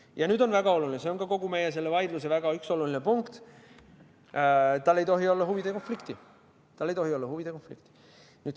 Ja nüüd väga oluline punkt, see on kogu meie vaidluse väga oluline punkt: sel bürool ei tohi olla huvide konflikti.